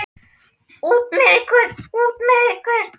Út með ykkur. út með ykkur.